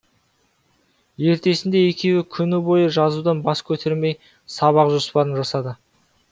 ертесінде екеуі күні бойы жазудан бас көтермей сабақ жоспарын жасады